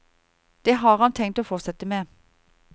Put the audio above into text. Det har han tenkt å fortsette med.